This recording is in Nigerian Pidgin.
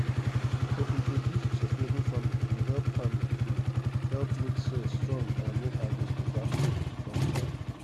to introduce sustainable farming go help farming go help make soil strong and make harvest beta for long time.